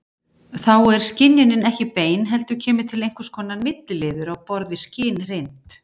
Þá er skynjunin ekki bein heldur kemur til einhvers konar milliliður á borð við skynreynd.